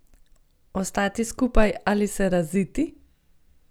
Ostati skupaj ali se raziti?